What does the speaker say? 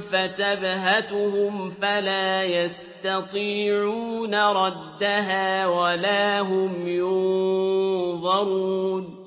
فَتَبْهَتُهُمْ فَلَا يَسْتَطِيعُونَ رَدَّهَا وَلَا هُمْ يُنظَرُونَ